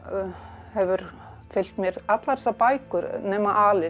hefur fylgt mér allar þessar bækur nema